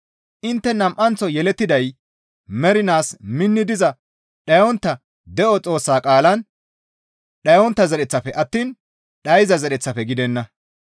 Intte nam7anththo yelettiday mernaas minni diza dhayontta de7o Xoossa qaalan dhayontta zereththafe attiin dhayza zereththafe gidenna.